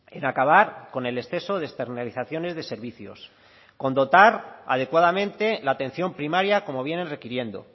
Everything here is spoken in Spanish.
en acabar con el exceso de externalizaciones de servicios con dotar adecuadamente la atención primaria como vienen requiriendo